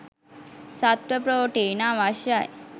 සත්ව ප්‍රෝටීන අවශ්‍යයි.